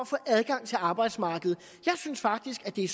få adgang til arbejdsmarkedet jeg synes faktisk at det